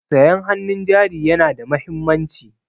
Sayan hannun jari yana da mahimmanci.